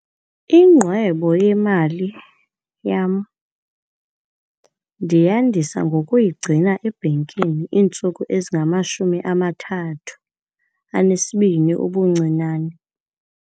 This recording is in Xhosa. Ingqwebo yemali yam ndiyandisa ngokuyigcina ebhankini iintsuku ezingamashumi amathathu anesibini ubuncinane.